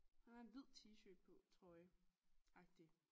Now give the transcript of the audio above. Han har en hvid t-shirt på trøjeagtig